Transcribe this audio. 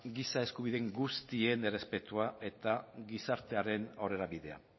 giza eskubideen guztien errespetua eta gizartearen aurrerabidea